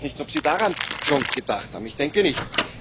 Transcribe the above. Ich weiß nicht, ob Sie daran schon gedacht haben, ich denke nicht.